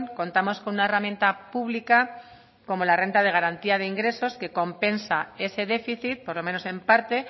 contamos con una herramienta pública como la renta de garantía de ingresos que compensa ese déficit por lo menos en parte